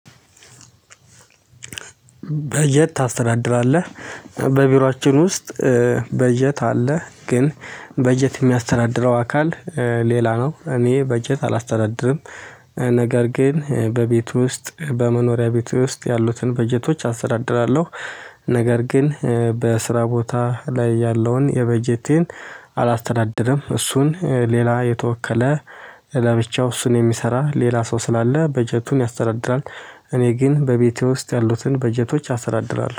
በጀት ታስተዳድራለህ? በቢሮአችን ውስጥ በጀት አለ። ግን በጀት የሚያስተዳድረው አካል ሌላ ነው። እኔ በጀት አላስተዳድርም። ነገር ግን በቤቱ ውስጥ በመኖሪያ ቤቱ ውስጥ ያሉትን በጀቶች አስተዳድራለሁ። ነገር ግን በስራ ቦታ ላይ ያለውን የበጀቴን አላስተዳደረም። እሱን ሌላ የተወከለ ለብቻው እሱን የሚሰራ ሌላ ሰው ስላለ በጀቱን ያስተዳድራል። እኔ ግን በቤቴ ውስጥ ያሉትን በጀቶች አስተዳድራለሁ።